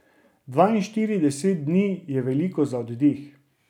Dvainštirideset dni je veliko za oddih.